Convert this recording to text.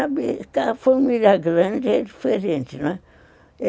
A família grande é diferente, né.